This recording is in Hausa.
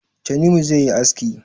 Tanimu zai yi aski